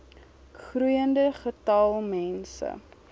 groeiende getal mense